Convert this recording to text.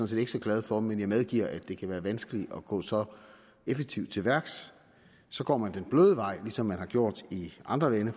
set ikke så glad for men jeg medgiver at det kan være vanskeligt at gå så effektivt til værks så går man den bløde vej ligesom de har gjort i andre lande